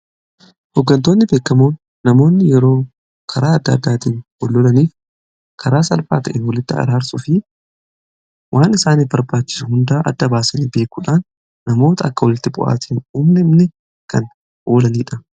hoggantoonni beekamoon namoonni yeroo karaa adda addaatiin wal lolanii fi karaa salphaatiin walitti araarsuu fi waan isaaniif barbaachisu hunda adda baasanii beekuudhaan namoota akka walitti bu'aatiin hin uumamne kan oolanidha.